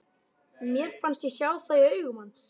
Mér fannst ég sjá það í augum hans.